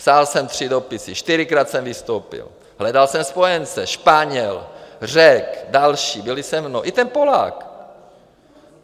Psal jsem tři dopisy, čtyřikrát jsem vystoupil, hledal jsem spojence, Španěl, Řek, další byli se mnou, i ten Polák.